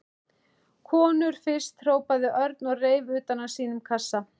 Konur fyrst hrópaði Örn og reif utan af sínum kassa.